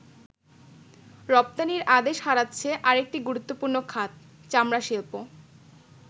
রপ্তানির আদেশ হারাচ্ছে আরেকটি গুরুত্বপূর্ণ খাত, চামড়া শিল্প।